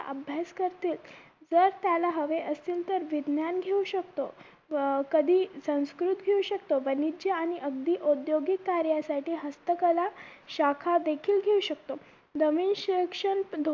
अभ्यास करतील जर त्याला हवे असतील तर विज्ञान घेऊ शकतो व कधी संस्कृत घेऊ शकतो आणि अगदी उद्योगिक कार्यासाठी हस्तकला शाखा देखील घेऊ शकतो नवीन शिक्षण